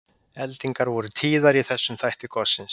Eldingar voru tíðar í þessum þætti gossins.